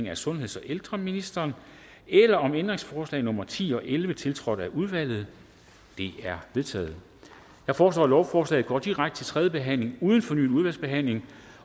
af sundheds og ældreministeren eller om ændringsforslag nummer ti og elleve tiltrådt af udvalget de er vedtaget jeg foreslår at lovforslaget går direkte til tredje behandling uden fornyet udvalgsbehandling